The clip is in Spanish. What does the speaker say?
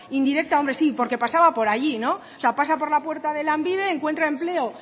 indirecta hombre y porque pasaba por allí no pasa por la puerta de lanbide encuentra empleo